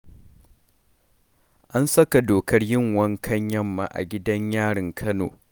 An saka dokar yin wankan yamma a gidan yarin Kano.